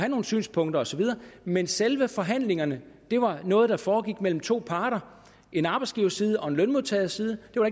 nogle synspunkter osv men selve forhandlingerne var noget der foregik mellem to parter en arbejdsgiverside og en lønmodtagerside det var